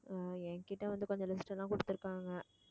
உம் என்கிட்ட வந்து கொஞ்சம் list எல்லாம் கொடுத்திருக்காங்க